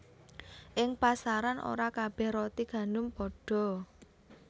Ing pasaran ora kabéh roti gandum padha